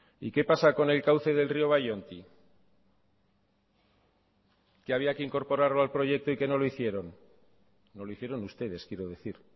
y qué pasa con el cauce del río ballonti que había que incorporarlo al proyecto y que no lo hicieron no lo hicieron ustedes quiero decir